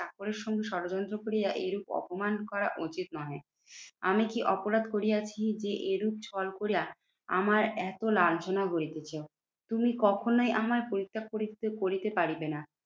চাকরের সঙ্গে ষড়যন্ত্র করিয়া এইরূপ অপমান করা উচিত নহে। আমি কি অপরাধ করিয়াছি যে এরূপ ছল করিয়া আমার এত লাঞ্ছনা হইতেছে তুমি কখনোই আমার পরিত্যাগ করিতে করিতে পারিবে না